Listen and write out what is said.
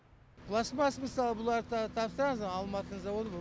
пластмас мысалы бұларды тапсырамыз алматы заводы бұ